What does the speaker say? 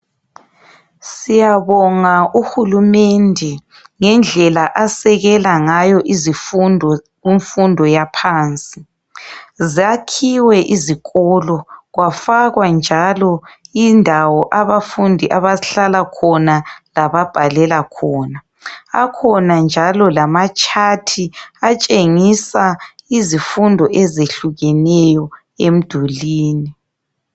Siyabonga uhulumende ngendlela asekela ngayo izifundo kumfundo yaphansi. Zakhiwe izikolo kwafakwa njalo indawo abafundi abahlala khona lababhalela khona. Akhona njalo lamatshathi atshengisa izifundo ezehlukeneyo emdulwini.